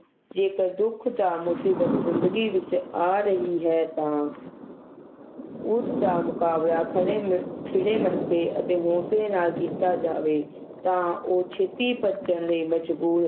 ਜੇਕਰ ਦੁੱਖ ਦਾ ਮੁਸੀਬਤ ਜਿੰਦਗੀ ਵਿਚ ਆ ਰਹੀ ਹੈ ਤਾ ਉਸ ਦਾ ਮੁਕਾਬਲਾ ਖੜ੍ਹੇ ਮਿ ਖਿੜੇ ਮੱਥੇ ਅਤੇ ਹੌਸਲੇ ਨਾਲ ਕੀਤਾ ਜਾਵੇ ਤਾ ਉਹ ਛੇਤੀ ਭੱਜਣ ਲਈ ਮਜਬੂਰ